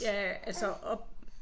Ja altså oppe?